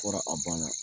Fɔra a banna